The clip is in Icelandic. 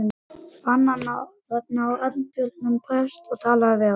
Fann hann þar Arnbjörn prest og talaði við hann.